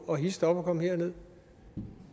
og hist op og kom herned